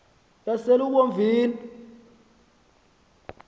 yaselubomvini